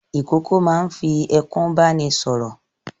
Ìkókó máa ń fi ẹkún bá ni sọ̀rọ̀.